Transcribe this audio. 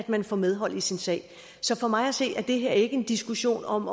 man får medhold i sin sag så for mig at se er det her ikke en diskussion om